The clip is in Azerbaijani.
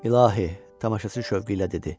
İlahi, tamaşaçı şövqü ilə dedi.